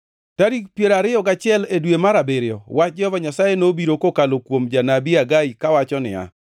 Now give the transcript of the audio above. Tarik piero ariyo gachiel e dwe mar abiriyo, wach Jehova Nyasaye nobiro kokalo kuom janabi Hagai kawacho niya: